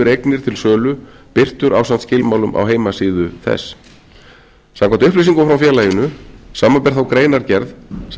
eignir til sölu birtur ásamt skilmálum á heimasíðu þess samkvæmt upplýsingum frá félaginu samanber þá greinargerð sem